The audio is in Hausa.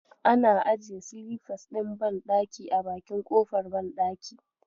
Ana ajiye silifas ɗin banɗaki a bakin kofar banɗaki.